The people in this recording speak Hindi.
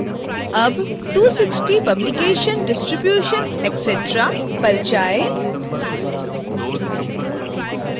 अब 260 publication distribution etc पर जाएँ